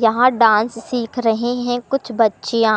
यहां डांस सीख रही हैं कुछ बच्चिया--